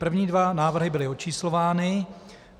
První dva návrhy byly očíslovány.